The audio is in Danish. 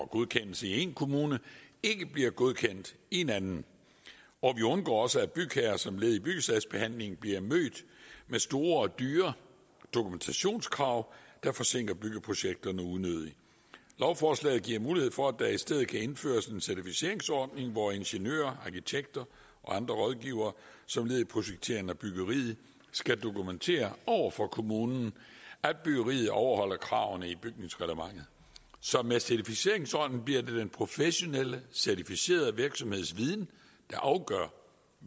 godkendelse i en kommune ikke bliver godkendt i en anden og vi undgår også at bygherrer som led i byggesagsbehandlingen bliver mødt med store og dyre dokumentationskrav der forsinker byggeprojekterne unødigt lovforslaget giver mulighed for at der i stedet kan indføres en certificeringsordning hvor ingeniører arkitekter og andre rådgivere som led i projekteringen af byggeriet skal dokumentere over for kommunen at byggeriet overholder kravene i bygningsreglementet så med certificeringsordningen bliver det den professionelle certificerede virksomheds viden der afgør